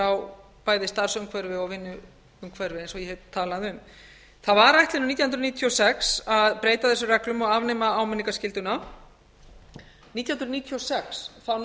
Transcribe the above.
á bæði starfsumhverfi og vinnuumhverfi eins og ég hef talað um það var ætlunin nítján hundruð níutíu og sex að breyta þessum reglum og afnema áminningarskylduna nítján hundruð níutíu og sex